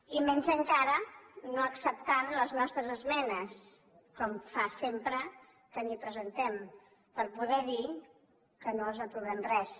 i menys encara no acceptant les nostres esmenes com fa sempre que li’n presentem per poder dir que no els aprovem res